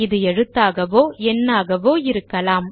இது எழுத்தாகவோ எண்ணாகவோ இருக்கலாம்